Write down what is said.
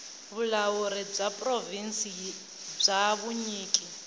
vulawuri bya provhinsi bya vunyiki